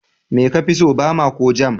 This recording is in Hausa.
Me kafi so, Bama ko Jam?